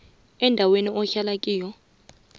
endaweni ahlala kiyo